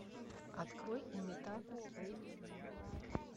открой имитатор эйч ди